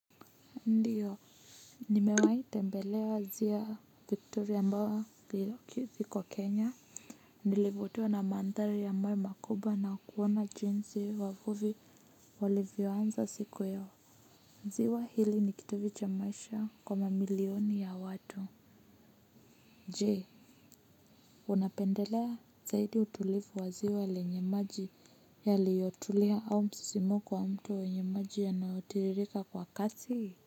Ndiyo nimewai tembelea zia victoria ambao iko kenya nilivutiwa na mandhari ya mawe makubwa na kuona jinsi wavuvi walivyoanza siku yao ziwa hili nikitovu cha maisha kwa mamilioni ya watu je unapendelea zaidi utulifu wa ziwa lenye maji yaliyotulia au msisimuko wa mto wa wenye maji yanaotiririka kwa kasi.